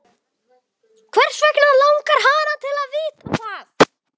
Hvers vegna langar hana til að vita það?